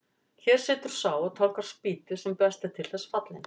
Hér situr sá og tálgar spýtu sem best er til þess fallinn.